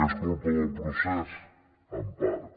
és culpa del procés en part